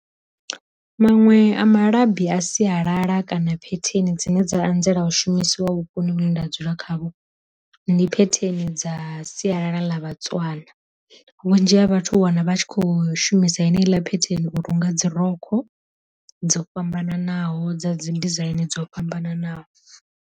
Maṅwe a malabi a sialala kana phetheni dzine dza anzela u shumisiwa vhukoni vhune nda dzula khavho, ndi phetheni dza sialala ḽa vha tswana. Vhunzhi ha vhathu wana vha tshi kho shumisa heneyi ḽa phetheni u runga dzi rokho dzo fhambananaho dza dzi dizaini dzo fhambananaho.